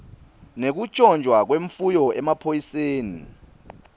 nekuntjontjwa kwemfuyo emaphoyiseni